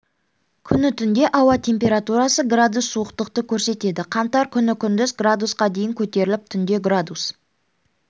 күні түнде ауа температурасы градус суықтықты көрсетеді қаңтар күні күндіз градусқа дейін көтеріліп түнде градус